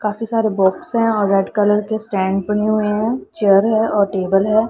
काफी सारे बॉक्स है और रेड कलर के स्टैंड बने हुए हैं। चेयर है और टेबल है।